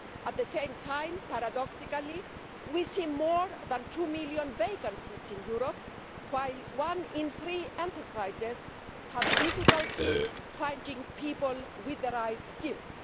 At the same time, paradoxically we see more than two million vacancies in Europe, while one in three enterprises has difficulty finding people with the right skills.